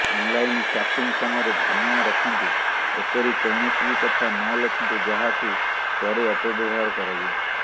online chatting ସମୟରେ ଧ୍ୟାନ ରଖନ୍ତୁ ଏପରି କୌଣସି ବି କଥା ନଲେଖନ୍ତୁ ଯାହାକୁ ପରେ ଅପବ୍ୟବହାର କରାଯିବ